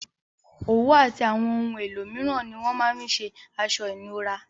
Òwú àti àwon oun elo míràn ni wón ma fin se aso ìnura